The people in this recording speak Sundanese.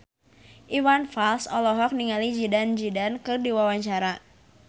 Iwan Fals olohok ningali Zidane Zidane keur diwawancara